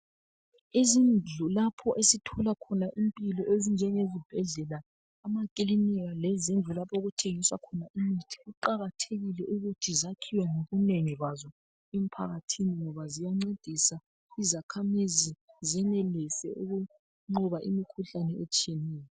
Izindlu lapho esithola khona impilo ezinjengezibhedlela, emakilinika lezindlu lapho okuthengiswa khona imithi kuqakathekile ukuthi zakhiwe ngobunengi bazo emphakathini ngoba ziyancedisa izakhamizi zenelise ukunqoba imikhuhlane etshiyeneyo.